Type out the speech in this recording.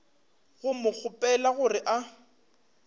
go mo kgopela gore a